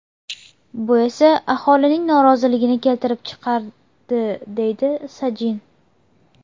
Bu esa aholining noroziligini keltirib chiqardi”, deydi Sajin.